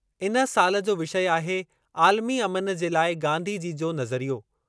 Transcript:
इन साल जो विषय आहे आलिमी अमन जे ल​ऐ गांधी जी जो नज़रियो।